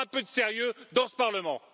Alors un peu de sérieux dans ce Parlement!